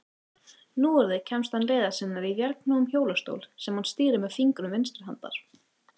Núorðið kemst hann leiðar sinnar í vélknúnum hjólastól, sem hann stýrir með fingrum vinstri handar.